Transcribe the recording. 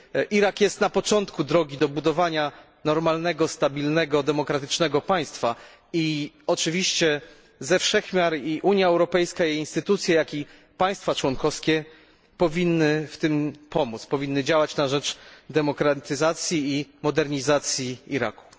Irak jest na początku drogi do budowania normalnego, stabilnego, demokratycznego państwa i oczywiście ze wszech miar i Unia Europejska, i jej instytucje, jak i państwa członkowskie powinny w tym pomóc, powinny działać na rzecz demokratyzacji i modernizacji Iraku.